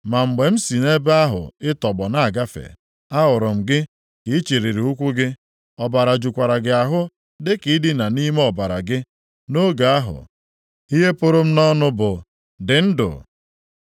“ ‘Ma mgbe m si nʼebe ahụ ị tọgbọ na-agafe, ahụrụ m gị ka i chịlịri ụkwụ gị, ọbara jukwara gị ahụ, dịka ị dina nʼime ọbara gị. Nʼoge ahụ, ihe pụrụ m nʼọnụ bụ, “Dị ndụ.”